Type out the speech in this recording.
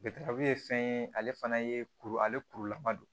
ye fɛn ye ale fana ye kuru ale kurulama don